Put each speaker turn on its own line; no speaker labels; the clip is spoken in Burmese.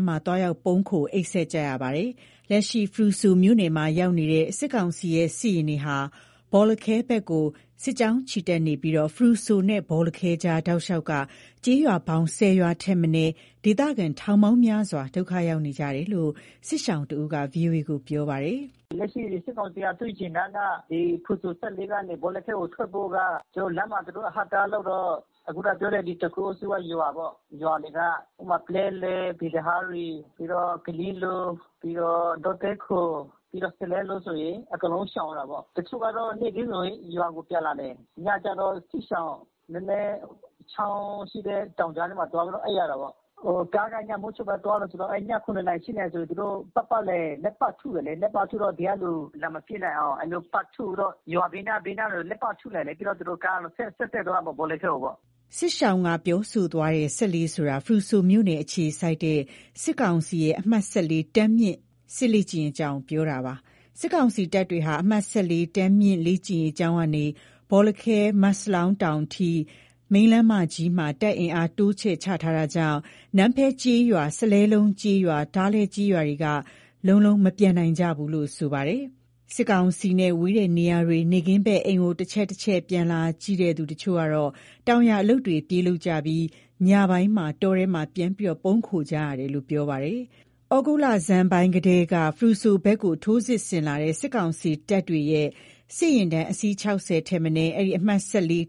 းမှာ သွားရောက်ပုန်းခို အိပ်စက် နေကြရတာပါ။ လက်ရှိ ဖရူဆိုမြို့နယ်မှာ ရောက်ရှိနေတဲ့ စစ်ကောင်စီရဲ့ စစ်ယာဉ်တွေက ဘောလခဲဘက်ကို စစ်ကြောင်းချီတက်နေပြီး ဖရူဆိုနဲ့ ဘောလခဲကြား တောက်လျှောက်က ကျေးရွာပေါင်း ၁၀ ရွာ ထက်မနည်း ဒေသခံထောင်ပေါင်းများစွာ ဒုက္ခရောက်နေကြတယ်လို့ စစ်ရှောင်တဦးက ဗွီအိုအေကို ပြောပါတယ်။
“လက်ရှိ စစ်ကောင်စီက သူ့ယာဉ်တန်က ဒီဖရူဆို ၁၄ ကနေ ဘောလခဲကို ထွက်ဖို့က ကျနော်တို့ လမ်းမှာ သူတို့အဟန့်အတားလုပ်တော့ ခုနပြောတဲ့ ဒီတခိုအုပ်စုက ရွာတွေက ဥပမာ ပလဲလယ်၊ ပီသဟာရီ၊ ပြီးတော့ ကရင်လို၊ ပြီးတော့ ဒေါသဲခို၊ ပြီးတော့ စလဲလုံး လိုဆိုရင် အကုန်လုံးရှောင်ရတာပေါ့။ တချို့ကတော့ နေ့ခင်းဆိုရင် ရွာကို ပြန်လာတယ်။ ညကျတော့ စစ်ရှောင် နည်းနည်းချောင်းရှိတဲ့ တောင်ကြာထဲမှာ သွားပြီးတော့ အိပ်ရတယ်ပေါ့။ ကားက ညမိုးချုပ်မှသွားတယ်ဆိုတော့ အဲ့ည ၇နာရီ ၈နာရီဆို သူတို့ ပတ်ပတ်လည် လှည့်ပစ်ထုတယ်လေ၊ လှည့်ပတ်ထုတော့ ဒီကလူ လာမပစ်နိုင်အောင် အဲ့လိုမျိုးပတ်ထုပြီးတော့ ရွာဘေးနား ဘေးနားတွေလည်း ပတ်ထုတယ်လေ၊ ပြီးတော့သူတို့ကားတွေဆက်တက်သွားမယ် ဘောလခဲကို
ပေါ့။” စစ်ရှောင်က ပြောဆိုသွားတဲ့ ၁၄ ဆိုတာ ဖရူဆိုမြို့နယ်အခြေစိုက် စစ်ကောင်စီရဲ့ အမှတ် တန်းမြင့် စစ်လေ့ကျင့်ရေးကျောင်းကို ပြောတာပါ။ စစ်ကောင်စီတပ်တွေ အမှတ် တန်းမြင့်လေ့ကျင်းရေး ကျောင်းကနေ ဘောလခဲ မတ်စလောင်း တောင်အထိ မိန်းလမ်းမကြီးမှာ တပ်အင်အား တိုးချဲ့ချထား တာကြောင့် နန်းဖဲကျေးရွာ စလဲလုံးကျေးရွာ ထားလဲကျေးရွာတွေက လုံးလုံးမပြန်နိုင်ဘူးလို့ ဆိုပါတယ်။ စစ်ကောင်စီနဲ့ ဝေးတဲ့နေရာတွေ နေ့ခင်းဘက် အိမ်ကို တချက်ချက်ပြန်လာကြည့် တချို့က တောင်ယာအလုပ်တွေ ပြေးလုပ်ကြပြီး ညပိုင်း တောထဲမှာ ပြန်ပုန်းနေရတယ်လို့ ပြောပါတယ်။ ယခုသြဂုတ်လဆန်ပိုင်းကတည်းက ဖရူဆိုဘက်ကို ထိုးစစ်ဆင်လာတဲ့ စစ်ကောင်စီတပ်တွေရဲ့ စစ်ယာဉ်တန်း အစီး ၆၀ ထက်မနည်း အဲ့ဒီ အမှတ်